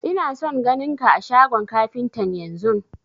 Ina son ganin ka a shagon kafintan yanzun!